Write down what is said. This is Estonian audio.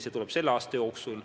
See tuleb selle aasta jooksul.